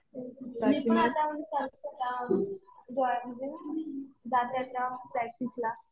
मी पण आता करते काम जाते आता प्रॅक्टिसला.